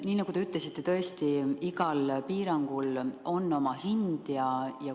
Nii nagu te ütlesite, tõesti, igal piirangul on oma hind.